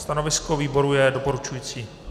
Stanovisko výboru je doporučující.